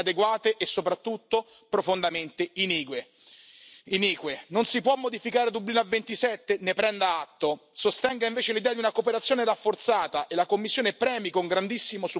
En el Código sobre visados, en el informe parlamentario y en nuestras resoluciones venimos insistiendo en la necesidad de esas vías legales sin el apoyo ni el compromiso de la Comisión ante la resistencia del Consejo.